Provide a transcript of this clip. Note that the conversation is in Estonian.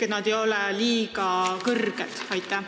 Kas need ei ole liiga kõrged?